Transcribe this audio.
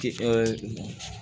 Ti ɛɛ